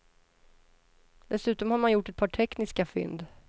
Dessutom har man gjort ett par tekniska fynd.